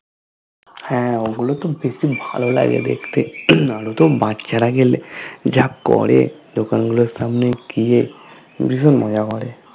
হ্যা ওগুলো তো বেশি ভালো লাগে দেখতে, আরো তো বাচ্চারা গেলে যা করে দোকান গুলোর সামনে গিয়ে বিশন মজা করে